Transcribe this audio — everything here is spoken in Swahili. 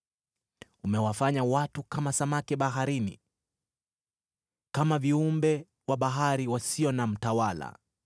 Umewafanya watu kama samaki baharini, kama viumbe wa bahari wasio na mtawala.